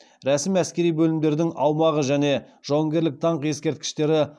рәсім әскери бөлімдердің аумағы және жауынгерлік даңқ ескерткіштері